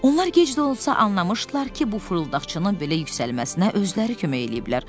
Onlar gec də olsa anlamışdılar ki, bu fırıldaqçının belə yüksəlməsinə özləri kömək eləyiblər.